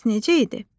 Bəs necə idi?